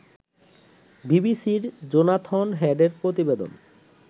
বিবিসির জোনাথন হেডের প্রতিবেদন